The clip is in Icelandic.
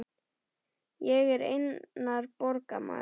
Ég er einnar borgar maður.